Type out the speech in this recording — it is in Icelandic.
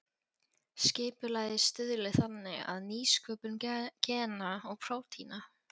Skipulagið stuðli þannig að nýsköpun gena og prótína.